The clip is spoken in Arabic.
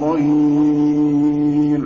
ظَهِيرٍ